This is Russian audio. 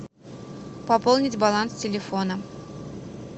пополнить баланс телефона